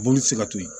Boli ti se ka to yen